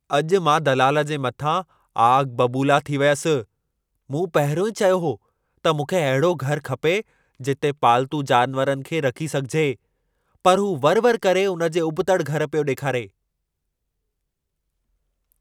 अॼु मां दलाल जे मथां आग बबूला थी वियसि। मूं पहिरियों ई चयो हो त मूंखे अहिड़ो घर खपे जिते पालतू जानवरनि खे रखी सघिजे, पर हू वरि-वरि करे उन जे उॿितड़ि घर पियो ॾेखारे।